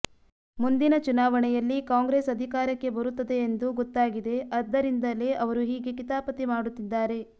ಮುಂದಿನ ಚುನಾವಣೆಯಲ್ಲಿ ಕಾಂಗ್ರೆಸ್ ಅಧಿಕಾರಕ್ಕೆ ಬರುತ್ತದೆ ಎಂದು ಗೊತ್ತಾಗಿದೆ ಅದ್ದರಿಂದಲೇ ಅವರು ಹೀಗೆ ಕಿತಾಪತಿ ಮಾಡುತ್ತಿದ್ದಾರೆ